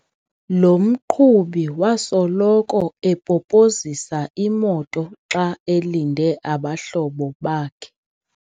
Lo mqhubi wasoloko epopozisa imoto xa elinde abahlobo bakhe.